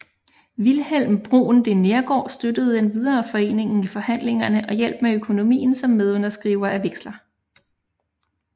Vilhelm Bruun de Neergaard støttede endvidere foreningen i forhandlingerne og hjalp med økonomien som medunderskriver af veksler